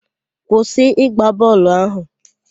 Kwụsị ịgba bọọlụ ahụ!